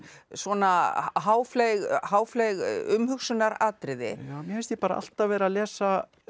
svona umhugsunaratriði mér finnst ég bara alltaf vera að lesa